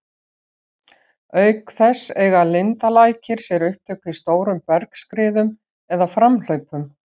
Auk þess eiga lindalækir sér upptök í stórum bergskriðum eða framhlaupum.